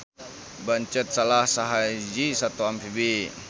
Bancet salah sahiji sato amfibi